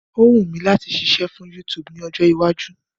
Ó wù mí láti ṣiṣẹ́ fún YouTube ní ọjọ́ iwájú.